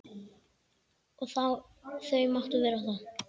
Og þau máttu vera það.